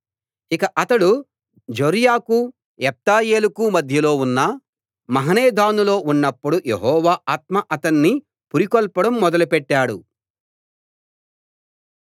ఇక అతడు జొర్యాకూ ఎష్తాయోలుకూ మధ్యలో ఉన్న మహనెదానులో ఉన్నప్పుడు యెహోవా ఆత్మ అతణ్ణి పురికొల్పడం మొదలు పెట్టాడు